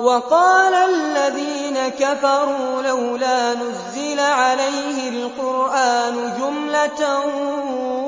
وَقَالَ الَّذِينَ كَفَرُوا لَوْلَا نُزِّلَ عَلَيْهِ الْقُرْآنُ جُمْلَةً